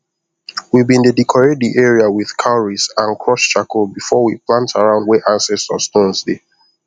we been dey decorate the area with cowries and crushed charcoal before we plant around where ancestor stones dey